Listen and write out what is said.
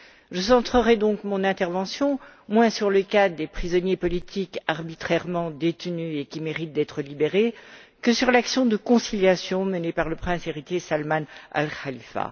Je centrerai donc mon intervention moins sur le cas des prisonniers politiques arbitrairement détenus et qui méritent d'être libérés que sur l'action de conciliation menée par le prince héritier Salman Al Khalifa.